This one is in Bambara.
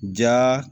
Ja